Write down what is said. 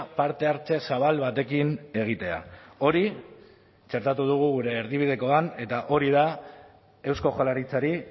parte hartze zabal batekin egitea hori txertatu dugu gure erdibidekoan eta hori da eusko jaurlaritzari